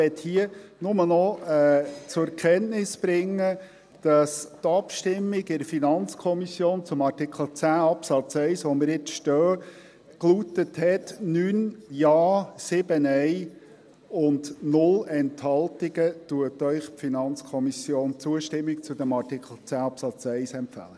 Ich möchte hier nur noch zur Kenntnis bringen, dass die Abstimmung in der FiKo zu Artikel 10 Absatz 1, wo wir jetzt stehen, lautete, dass Ihnen die FiKo mit 9 Ja, 7 Nein und 0 Enthaltungen Zustimmung zu diesem Artikel 10 Absatz 1 empfiehlt.